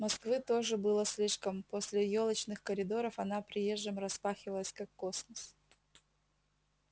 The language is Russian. москвы тоже было слишком после ёлочных коридоров она приезжим распахивалась как космос